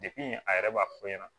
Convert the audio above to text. a yɛrɛ b'a fɔ e ɲɛna